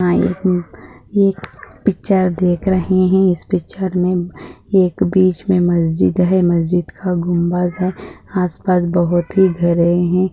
हा एक एक पिक्चर देख रहे है इस पिक्चर मे एक बिछ मे मस्जिद है मस्जिद का गुंबज है आसपास बहुत ही घरे है।